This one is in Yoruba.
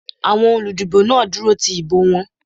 Àwọn olúdìbò náà dúró ti ìbò wọn.